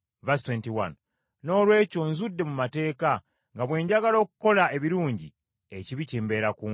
Noolwekyo nzudde mu mateeka nga bwe njagala okukola ebirungi, ekibi kimbeera kumpi.